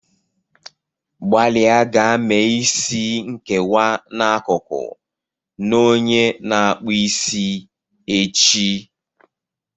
Gbalịa gaa mee isi nkewa n'akụkụ na onye na-akpụ isi echi.